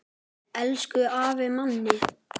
Elsku afi Manni.